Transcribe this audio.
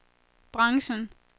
branchen